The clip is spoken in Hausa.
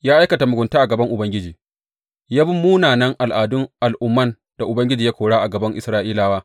Ya aikata mugunta a gaban Ubangiji, ya bi munanan al’adun al’umman da Ubangiji ya kora a gaban Isra’ilawa.